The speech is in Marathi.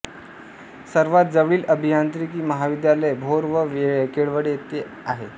सर्वात जवळील अभियांत्रिकी महाविद्यालय भोर व केळवडे येथे आहे